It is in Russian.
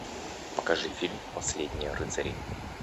покажи фильм последние рыцари